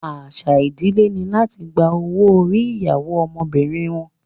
Àṣà ìdílé ni láti gba owó orí ìyàwó ọmọbìnrin wọn